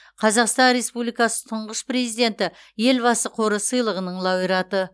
қазақстан республикасы тұңғыш президенті елбасы қоры сыйлығының лауреаты